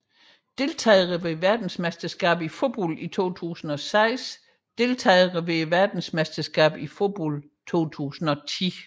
Deltagere ved verdensmesterskabet i fodbold 2006 Deltagere ved verdensmesterskabet i fodbold 2010